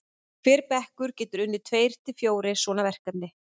hver bekkur getur unnið tveir til fjórir svona verkefni